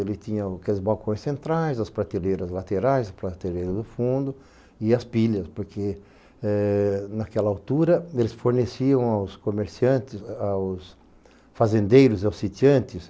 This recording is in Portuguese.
Ele tinha o aqueles balcões centrais, as prateleiras laterais, as prateleiras do fundo e as pilhas, porque eh naquela altura eles forneciam aos comerciantes, aos fazendeiros, aos sitiantes,